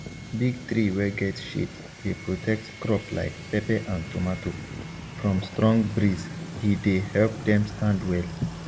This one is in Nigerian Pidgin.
big tree wey get shade dey protect crop like pepper and tomato from strong breezehe dey help them stand well